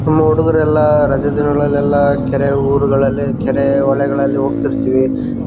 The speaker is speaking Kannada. ನಮ್ಮ ಹುಡುಗರೆಲ್ಲ ರಜಾ ದಿನಗಳಲ್ಲೆಲ್ಲ ಕೆರೆ ಊರುಗಳಲ್ಲಿ ಕೆರೆ ಹೊಳೆ ಗಳಲ್ಲಿ ಹೋಗ್ತಿರ್ತೀವಿ .